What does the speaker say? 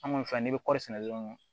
An kɔni fɛ ni bɛ kɔɔri sɛnɛ dɔrɔn